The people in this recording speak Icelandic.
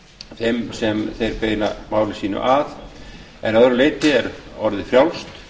þeim sem þeir beina máli sínu að en að öðru leyti er orðið frjálst